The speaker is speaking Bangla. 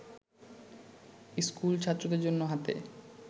স্কুলছাত্রদের জন্য হাতে